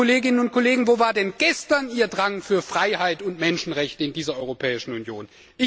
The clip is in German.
Liebe Kolleginnen und Kollegen, wo war denn gestern Ihr Drang zu Freiheit und Menschenrechten in dieser Europäischen Union?